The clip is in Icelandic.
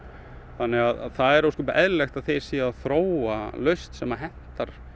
þannig að það er eðlilegt að þeir séu að þróa lausn sem hentar